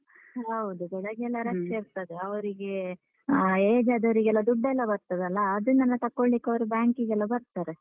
ಹೌದು ಬೆಳಿಗ್ಗೆ ಎಲ್ಲಾ ಇರ್ತದೆ ಅವ್ರಿಗೆ ಆ age ಆದವ್ರಿಗೆಲ್ಲ ದುಡ್ಡೆಲ್ಲ ಬರ್ತದಲ್ಲ? ಅದುನ್ನೆಲ್ಲ ತಕ್ಕೋಳ್ಳಿಕ್ ಅವ್ರು bank ಗೆಲ್ಲ ಬರ್ತಾರೆ.